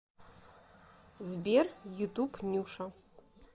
сбер ютуб нюша